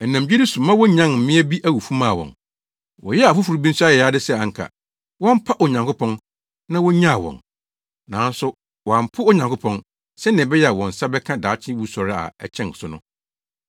Ɛnam gyidi so ma wonyan mmea bi awufo maa wɔn. Wɔyɛɛ afoforo bi nso ayayade sɛ anka wɔmpa Onyankopɔn na wonnyaa wɔn. Nanso wɔampo Onyankopɔn, sɛnea ɛbɛyɛ a wɔn nsa bɛka daakye wusɔre a ɛkyɛn so no.